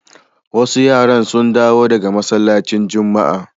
Wasu yara sun dawo daga masallacin Juma'a.